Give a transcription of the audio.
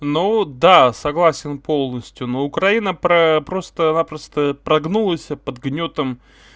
ну да согласен полностью ну украина про просто-напросто прогнулась под гнётом